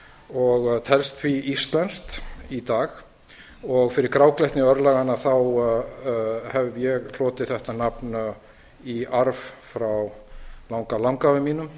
og telst því íslenskt í dag fyrir gráglettni örlaganna hef ég hlotið þetta nafn í arf frá langalangafa mínum